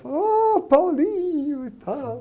Falou, ah, e tal.